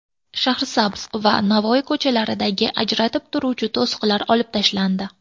Shahrisabz va Navoiy ko‘chalaridagi ajratib turuvchi to‘siqlar olib tashlandi .